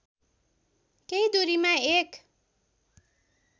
केही दूरीमा एक